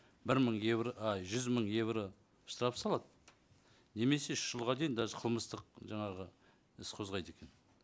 бір мың евро ай жүз мың евро штраф салады немесе үш жылға дейін даже қылмыстық жаңағы іс қозғайды екен